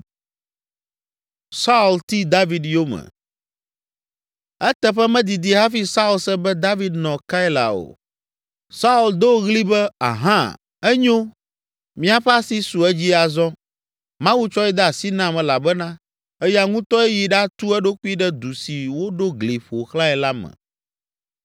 Eteƒe medidi hafi Saul se be David nɔ Keila o. Saul do ɣli be, “Ahã! Enyo! Míaƒe asi su edzi azɔ, Mawu tsɔe de asi nam elabena eya ŋutɔe yi ɖatu eɖokui ɖe du si woɖo gli ƒo xlãe la me!”